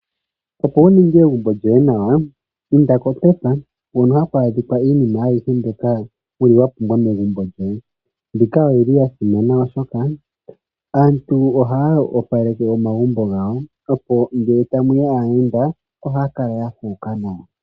Opo wu ninge egumbo lyoye nawa inda koPep hono hakwa adhika iinima ayihe mbyoka wa pumbwa megumbo lyoye. Mbika oyili yasimana oshoka aantu ohaa opaleke omagumbo gawo. Opo ngele tamuya aayenda oha kala ya fuuka nawa.